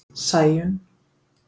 Sæunn